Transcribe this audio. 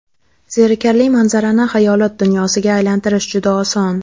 Zerikarli manzarani xayolot dunyosiga aylantirish juda oson.